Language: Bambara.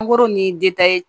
ni